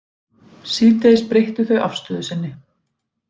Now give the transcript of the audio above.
Síðdegis breyttu þau afstöðu sinni